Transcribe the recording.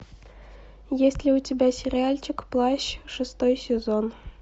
есть ли у тебя сериальчик плащ шестой сезон